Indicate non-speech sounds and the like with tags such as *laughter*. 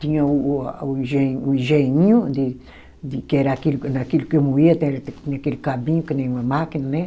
Tinha o o a, o enge, o engenhinho de de, que era aquilo que eu, naquilo que eu moía, *unintelligible* aquele cabinho que nem uma máquina, né.